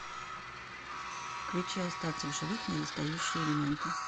включи остаться в живых недостающие элементы